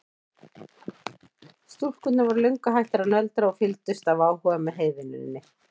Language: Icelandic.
Stúlkurnar voru löngu hættar að nöldra og fylgdust af áhuga með heyvinnunni.